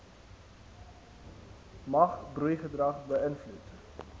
mag broeigedrag beïnvloed